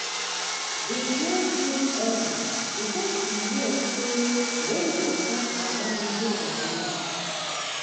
we plant beans early because we hear say rain go start around middle of march.